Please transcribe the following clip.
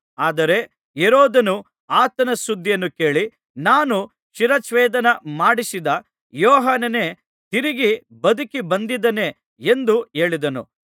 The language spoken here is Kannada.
ಆದರೆ ಹೆರೋದನು ಆತನ ಸುದ್ದಿಯನ್ನು ಕೇಳಿ ನಾನು ಶಿರಚ್ಛೇದನ ಮಾಡಿಸಿದ ಯೋಹಾನನೇ ತಿರುಗಿ ಬದುಕಿ ಬಂದಿದ್ದಾನೆ ಎಂದು ಹೇಳಿದನು